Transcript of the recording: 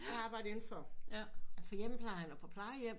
Kan arbejde indenfor for hjemmeplejen og på plejehjem